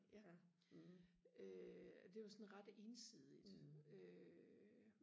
ja øh det var sådan ret ensidigt øh